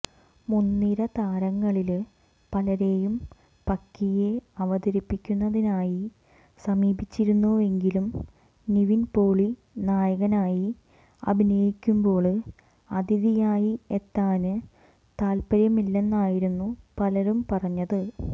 മുന്നിര താരങ്ങളില് പലരെയും പക്കിയെ അവതരിപ്പിക്കുന്നതിനായി സമീപിച്ചിരുന്നുവെങ്കിലും നിവിന് പോളി നായകനായി അഭിനയിക്കുമ്പോള് അതിഥിയായി എത്താന് താല്പര്യമില്ലെന്നായിരുന്നു പലരും പറഞ്ഞത്